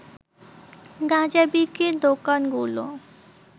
গাঁজা বিক্রির দোকানগুলো